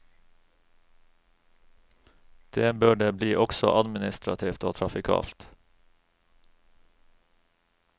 Det bør det bli også administrativt og trafikalt.